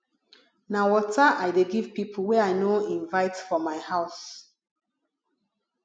na water i dey give pipo wey i no invite for my house